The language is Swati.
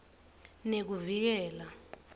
nekuvikela